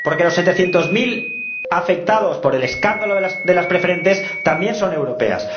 Porque los setecientos mil afectados por el escándalo de las preferentes también son europeos.